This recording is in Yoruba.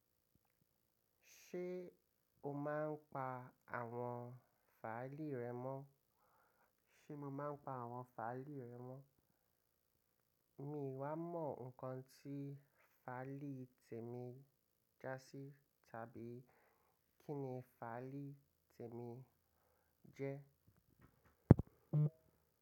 Ṣé o máa ń pa àwọn fàilì rẹ mọ́? Ṣé mo máa ń pa àwọn fàilì rẹ mọ́? Mi wá mọ nǹkan tí fàilì tèmi jásí tàbí kí ni fàilì tèmi jẹ́.